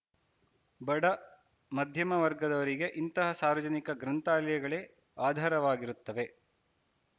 ಬಡ ಮಧ್ಯಮ ವರ್ಗದವರಿಗೆ ಇಂತಹ ಸಾರ್ವಜನಿಕ ಗ್ರಂಥಾಲಯಗಳೆ ಆಧಾರವಾಗಿರುತ್ತವೆ